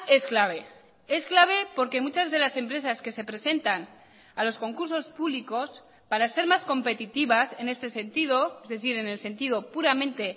es clave es clave porque muchas de las empresas que se presentan a los concursos públicos para ser más competitivas en este sentido es decir en el sentido puramente